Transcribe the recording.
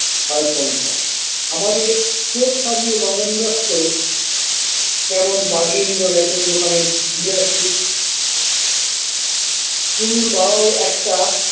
খায় সংসার আমাদের চোর সাজিয়ে নগেন দত্ত কেমন বাড়িয়ে নিল র‍্যাশন দোকানের ডিলারশিপ পুলুর বাবাও একটা।